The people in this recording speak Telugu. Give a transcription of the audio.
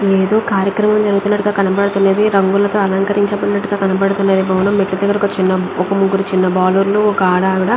ఇదేదో కార్యక్రమమం జరుగుతున్నట్టుగా కనబడుతున్నది రంగులతో అలంకరించిబటినట్టుగా కనబడుతున్నది భవనం మెట్లు కి దెగ్గర ఒక చిన్న ఒక ముగ్గురు చిన్న బాలురులు ఒక ఆడ ఆవిడా--